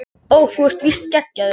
Ó þú ert víst geggjaður